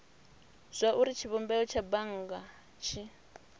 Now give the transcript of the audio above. zwauri tshivhumbeo tsha bannga tshi